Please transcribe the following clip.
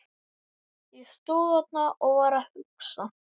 Ég stóð þarna og var að hugsa.